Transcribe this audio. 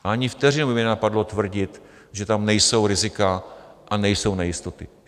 Ani vteřinu by mě nenapadlo tvrdit, že tam nejsou rizika a nejsou nejistoty.